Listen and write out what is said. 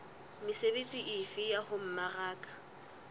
mesebetsi efe ya ho mmaraka